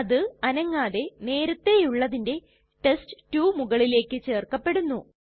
അത് അനങ്ങാതെ നേരത്തേയുള്ളതിന്റെ ടെസ്റ്റ്2 മുകളിലേക്ക് ചേർക്കപ്പെടുന്നു